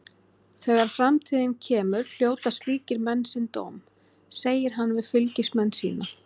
Þegar framtíðin kemur hljóta slíkir menn sinn dóm, segir hann við fylgismenn sína.